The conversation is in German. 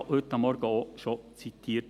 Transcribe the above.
Er wurde ja heute Morgen bereits zitiert.